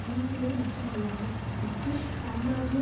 வீழ்த்துவது மட்டுமல்லாமல் பிரிட்டிஷ் சாம்ராஜ்ஜிய